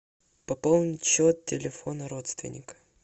пополнить счет телефона родственника